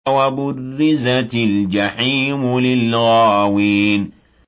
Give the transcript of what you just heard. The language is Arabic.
وَبُرِّزَتِ الْجَحِيمُ لِلْغَاوِينَ